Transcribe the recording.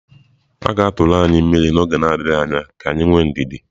A ga-atụrụ anyị mmiri n'oge adịghị anya, ka anyị nwee ndidi.